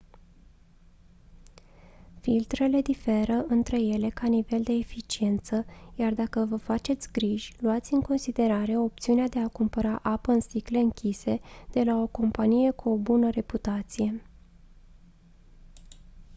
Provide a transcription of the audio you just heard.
filtrele diferă între ele ca nivel de eficiență iar dacă vă faceți griji luați în considerare opțiunea de a cumpăra apa în sticle închise de la o companie cu o bună reputație